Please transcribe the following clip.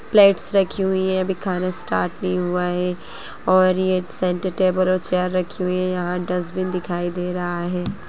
Plates रखी हुई है अभी खाना स्टार्ट नहीं हुआ है और ये सेंटर टेबल और चेयर रखी हुई है यहाँ डस्टबिन दिखाई दे रहा है।